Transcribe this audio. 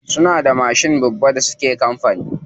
Suna da mashin babba da suke amfani da shi.